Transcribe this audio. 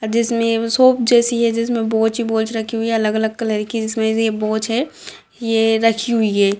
जिसमें शॉप जैसी है जिसमे बोझ ही बोझ रखे हुए है अलग-अलग कलर की जिसमे से ये बोझ है ये रखी हुई है।